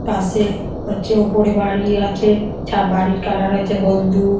পাশে হচ্ছে ওপরে বাড়ি আছে যা বাড়ির কালার হচ্ছে হলদু।